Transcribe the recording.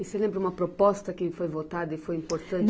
E você lembra uma proposta que foi votada e foi importante?